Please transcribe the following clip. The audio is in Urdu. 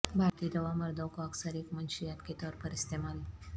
بھارتی دوا مردوں کو اکثر ایک منشیات کے طور پر استعمال